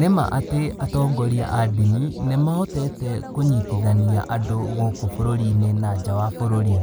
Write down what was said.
Nĩma atĩ atongoria a ndini, nĩmahotete kũnyitithania andũ gũkũ bũrũrinĩ na nja wa bũrũri.